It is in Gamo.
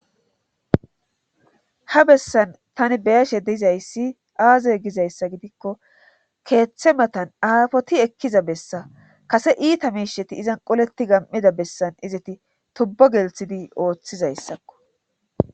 ha bessan tani beyashe deizayssi aazay gizayssa gidikko keeththe matan aafoti ekkiza bessa kase iita meisheti izan qoleti gam7ida bessan izati tubbo gelthidi ooththizayssakko